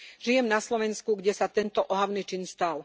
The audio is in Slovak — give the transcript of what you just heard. Žijem na Slovensku, kde sa tento ohavný čin stal.